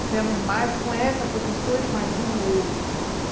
Tivemos mais com essa professora e mais uma ou outra, entendeu?